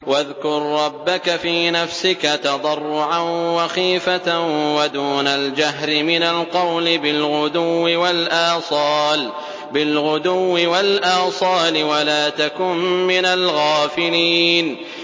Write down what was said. وَاذْكُر رَّبَّكَ فِي نَفْسِكَ تَضَرُّعًا وَخِيفَةً وَدُونَ الْجَهْرِ مِنَ الْقَوْلِ بِالْغُدُوِّ وَالْآصَالِ وَلَا تَكُن مِّنَ الْغَافِلِينَ